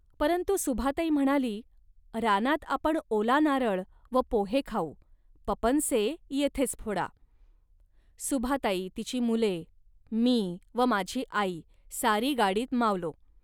परंतु सुभाताई म्हणाली, "रानात आपण ओला नारळ व पोहे खाऊ, पपनसे येथेच फोडा. सुभाताई, तिची मुले, मी व माझी आई सारी गाडीत मावलो